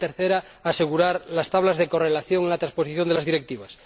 y la tercera, asegurar las tablas de correlación en la transposición de las directivas.